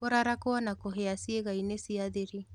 Kũrarakũo na kũhĩa ciĩgainĩ cia thiri